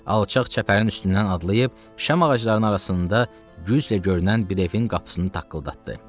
Alçaq çəpərin üstündən adlayıb şam ağaclarının arasında güclə görünən bir evin qapısını taqqıldatdı.